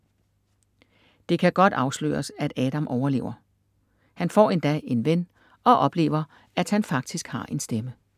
Det kan godt afsløres, at Adam overlever. Han får endda en ven og oplever at han faktisk har en stemme.